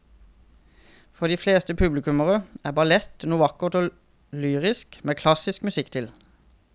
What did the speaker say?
For de fleste publikummere er ballett noe vakkert og lyrisk med klassisk musikk til.